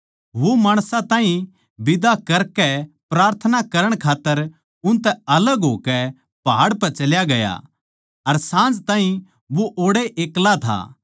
वो माणसां ताहीं बिदा करकै प्रार्थना करण खात्तर न्यारा पहाड़ पै चल्या गया अर साँझ ताहीं वो ओड़ै एक्ला था